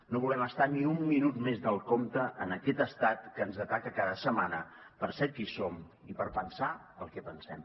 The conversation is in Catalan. no volem estar ni un minut més del compte en aquest estat que ens ataca cada setmana per ser qui som i per pensar el que pensem